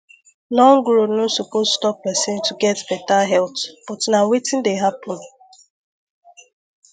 long road no suppose stop person to get better health but na wetin dey happen